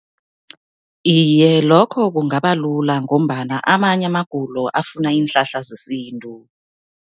Iye, lokho kungaba lula ngombana amanye amagulo afuna iinhlahla zesintu.